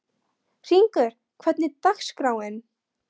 Hringur, hvernig er dagskráin?